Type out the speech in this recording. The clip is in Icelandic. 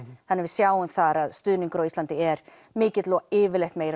þannig að við sjáum þar að stuðningur á Íslandi er mikill og yfirleitt meiri